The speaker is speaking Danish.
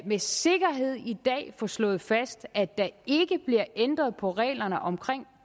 med sikkerhed i dag få slået fast at der ikke bliver ændret på reglerne om